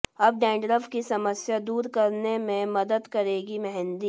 अब डैंड्रफ की समस्या दूर करने में मदद करेगी मेहंदी